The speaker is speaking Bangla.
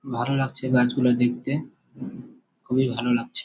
ভালো লাগছে গাছ গুলা দেখতে। খুবই ভালো লাগছে।